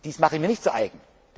Das mache ich mir nicht zu